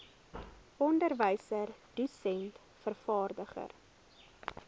onderwyser dosent vervaardiger